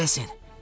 Tələsin!